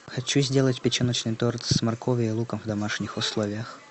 хочу сделать печеночный торт с морковью и луком в домашних условиях